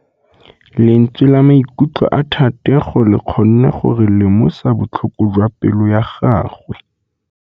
Lentswe la maikutlo a Thategô le kgonne gore re lemosa botlhoko jwa pelô ya gagwe.